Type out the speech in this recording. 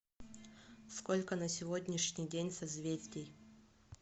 сколько на сегодняшний день созвездий